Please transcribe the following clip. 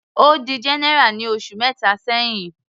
Ó di general ní oṣù mẹta sẹ́hìn.